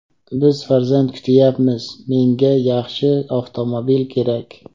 Biz farzand kutyapmiz, menga yaxshi avtomobil kerak.